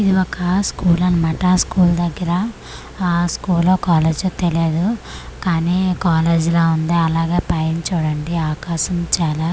ఇది ఒక స్కూల్ అనమాట స్కూల్ దగ్గర ఆఆ స్కూలో కాలేజో తెలియదు కానీ కాలేజిలా ఉంది అలాగే పైన చూడండి ఆకాశం చాలా.